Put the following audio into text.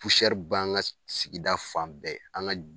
b'an ŋa s sigida fan bɛɛ, an ŋa